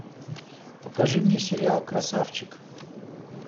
покажи мне сериал красавчик